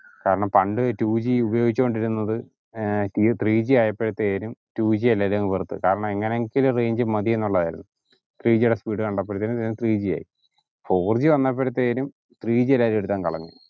കാരണം പണ്ട് two G ഉപയോഗിച്ച കൊണ്ടിരിന്നത് ഏർ ത്രീ ജി ആയപ്പോലേക്കും ടു ജി എല്ലാരും വെറുത്ത് കാരണം എങ്ങനേലും range മതിന്നുള്ളതായിരുന്നു ത്രീ ജി ടെ speed കണ്ടപ്പഴേക്കും ത്രീ ജി ആയി ഫോർ ജി വന്നപ്പഴാത്തെരും ത്രീ ജി എല്ലാരും എടുത്തിട്ടങ് കളഞ്ഞു